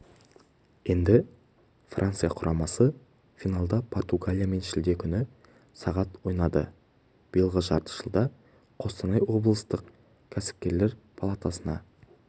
енді франция құрамасы финалда португалиямен шілде күні сағат ойнайды биылғы жарты жылда қостанай облыстық кәсіпкерлер палатасына